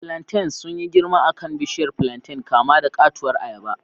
Plantains sun yi girma a kan bishiyar plantain, kama da katuwar ayaba.